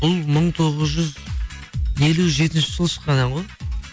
бұл мың тоғыз жүз елу жетінші жылы шыққан ән ғой